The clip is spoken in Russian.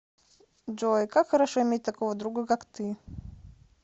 джой как хорошо иметь такого друга как ты